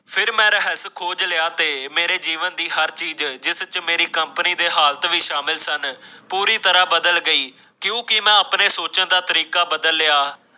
ਫੇਰ ਮੈਂ ਰਹੱਸ ਖੋਜ ਲਿਆ ਤੇ ਮੇਰੇ ਜੀਵਨ ਦੀ ਹਰ ਚੀਜ਼ ਜਿਸਚੇ ਮੇਰੀ ਕੰਪਨੀ ਦੇ ਹਾਲਤ ਭੀ ਸ਼ਾਮਿਲ ਸਨ ਪੂਰੀ ਤਰਾਂ ਬਦਲ ਗਈ ਕਿਉਂਕਿ ਮੈਂ ਆਪਣੇ ਸੋਚਣ ਦਾ ਤਰੀਕਾ ਬਦਲ ਲਿਆ।